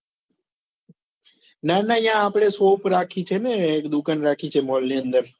ના ના ન્યા આપડે shop રાખી છે ને એક દુકાન રાખી છે mall ની અંદર